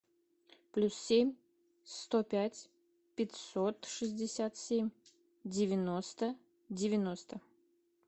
плюс семь сто пять пятьсот шестьдесят семь девяносто девяносто